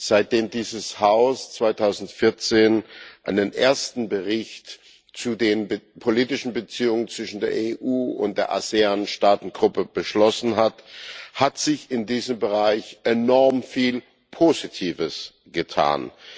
Seitdem dieses Haus 2014 einen ersten Bericht über die politischen Beziehungen zwischen der EU und der ASEAN Staatengruppe beschlossen hat, hat sich in diesem Bereich enorm viel Positives getan.